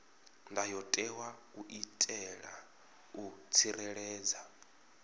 ndayotewa u itela u tsireledza